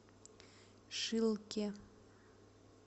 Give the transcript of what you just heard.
шилке